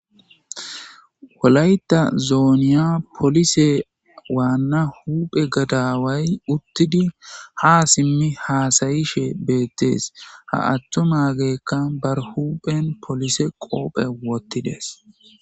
wolayta zooniya polise waanna huphe gadaway uttidi ha simmi haasayishe beettees ha attumageekka bar huphen polise qoophe wottides